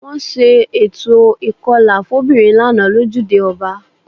Wọ́n ṣe eto ìkọlà fóbìnrin lánàá lójúde ọba